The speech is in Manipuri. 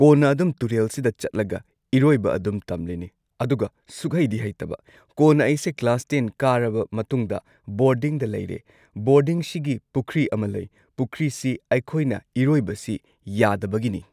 ꯀꯣꯟꯅ ꯑꯗꯨꯝ ꯇꯨꯔꯦꯜꯁꯤꯗ ꯆꯠꯂꯒ ꯢꯔꯣꯏꯕ ꯑꯗꯨꯝ ꯇꯝꯂꯤꯅꯤ ꯑꯗꯨꯒ ꯁꯨꯛꯍꯩꯗꯤ ꯍꯩꯇꯕ, ꯀꯣꯟꯅ ꯑꯩꯁꯦ ꯀ꯭ꯂꯥꯁ ꯇꯦꯟ ꯀꯥꯔꯕ ꯃꯇꯨꯡꯗ ꯕꯣꯔꯗꯤꯡꯗ ꯂꯩꯔꯦ ꯕꯣꯔꯗꯤꯡꯁꯤꯒꯤ ꯄꯨꯈ꯭ꯔꯤ ꯑꯃ ꯂꯩ, ꯄꯨꯈ꯭ꯔꯤꯁꯤ ꯑꯩꯈꯣꯏꯅ ꯏꯔꯣꯏꯕꯁꯤ ꯌꯥꯗꯕꯒꯤꯅꯤ꯫